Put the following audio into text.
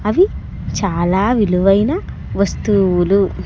అవి చాలా విలువైన వస్తువులు.